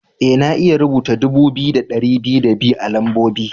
Ee, na iya rubuta dubu biyu da dari biyu da biyu a'lambobi.